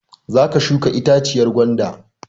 Za ka shuka itaciyar gwanda!